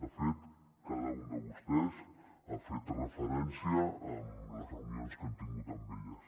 de fet cada un de vostès ha fet referència a les reunions que han tingut amb elles